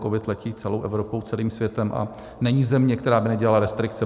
Covid letí celou Evropou, celým světem a není země, která by nedělala restrikce.